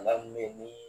Bana mun be yen ni